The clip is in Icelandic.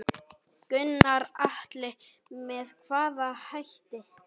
Gunnar Atli: Með hvaða hætti?